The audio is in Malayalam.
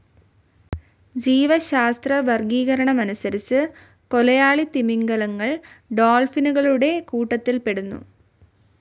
ജീവശാസ്ത്രവർഗീകരണമനുസരിച്ച് കൊലയാളി തിമിംഗിലങ്ങൾ ഡോൾഫിനുകളുടെ കൂട്ടത്തിൽപ്പെടുന്നു.